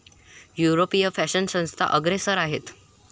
यूरोपीय फॅशन संस्था अग्रेसर आहेत.